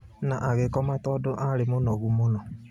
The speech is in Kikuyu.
Na agĩkoma tondũ arĩ mũnogu mũno.